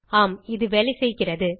ஆம் இது வேலைசெய்கிறது